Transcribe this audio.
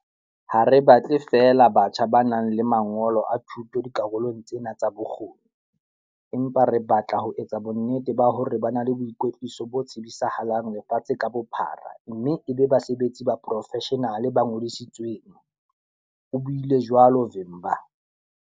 Ha re batle feela batjha ba nang le mangolo a thuto dikarolong tsena tsa bokgoni, empa re batla ho etsa bonnete ba hore ba na le boikwetliso bo tsebisahalang lefatshe ka bophara mme e be basebetsi ba poro-feshenale ba ngodisitsweng, o buile jwalo Vimba.